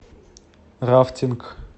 рафтинг